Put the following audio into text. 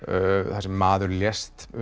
þar sem maður lést